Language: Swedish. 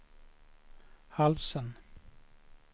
halsen